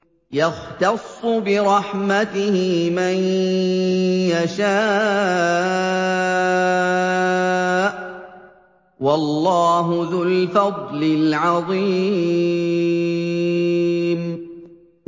يَخْتَصُّ بِرَحْمَتِهِ مَن يَشَاءُ ۗ وَاللَّهُ ذُو الْفَضْلِ الْعَظِيمِ